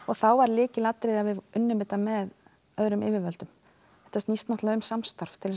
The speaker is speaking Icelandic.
þá var lykilatriði að við unnum með öðrum yfirvöldum þetta snýst um samstarf til